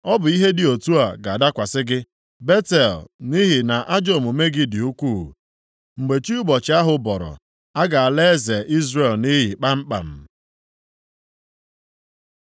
Ọ bụ ihe dị otu a ga-adakwasị gị, Betel, nʼihi na ajọ omume gị dị ukwuu. Mgbe chi ụbọchị ahụ bọrọ, a ga-ala eze Izrel nʼiyi kpamkpam.